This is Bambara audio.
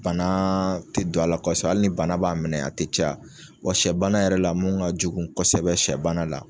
Bana tɛ don a la kosa hali ni bana b'a minɛ a tɛ ca, wa shɛ bana yɛrɛ la mun ka jugu kosɛbɛ shɛ bana la.